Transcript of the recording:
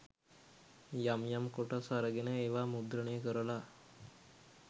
යම් යම් කොටස් අරගෙන ඒවා මුද්‍රණය කරලා